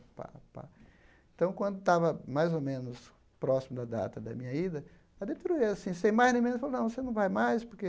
Pá pá então, quando estava mais ou menos próximo da data da minha ida, a diretoria assim, sem mais nem menos, falou, não, você não vai mais porque